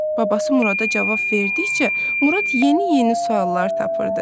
Babası Murada cavab verdikcə, Murad yeni-yeni suallar tapırdı.